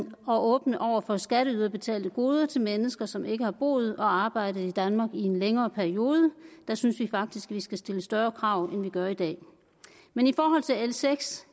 og åbne over for skatteyderbetalte goder til mennesker som ikke har boet og arbejdet i danmark i en længere periode der synes vi faktisk at vi skal stille større krav end vi gør i dag men i forhold til l seks